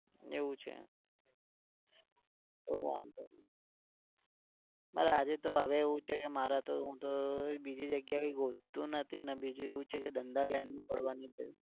એવું છે. તો વાંધો નહી. મારે આજે તો હવે એવું છે મારા તો હું તો બીજી જગ્યાએ ગોતતો નથી ને બીજું એવું છે કે ધંધા line માં પડવાનું